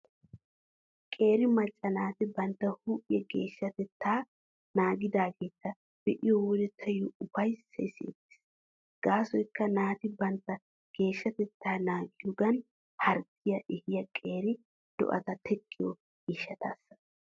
Qeeri macca naati bantta huuphiyaa geeshshatettaa naagidaageeta be'iyo wode taayyo ufayssay siyettees. Gaasoykka naati bantta geeshshatettaa naagiyoogan harggiyaa ehiyaa qeeri do'ata teqqiyo gishshataasssa.